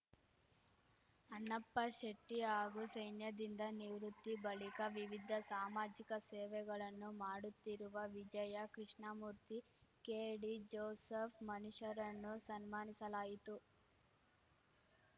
ಅಣ್ಣಪ್ಪ ಶೆಟ್ಟಿಹಾಗೂ ಸೈನ್ಯದಿಂದ ನಿವೃತ್ತಿ ಬಳಿಕ ವಿವಿಧ ಸಾಮಾಜಿಕ ಸೇವೆಗಳನ್ನು ಮಾಡುತ್ತಿರುವ ವಿಜಯ ಕೃಷ್ಣಮೂರ್ತಿ ಕೆಡಿಜೋಸೆಫ್‌ ಮನಿಷ್‌ರನ್ನು ಸನ್ಮಾನಿಸಲಾಯಿತು